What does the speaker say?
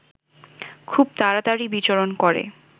খুব তাড়াতাড়ি বিচরণ করে